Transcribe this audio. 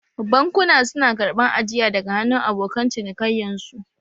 Bankuna su na karɓan ajiya daga hannun abokan cinikayyan su.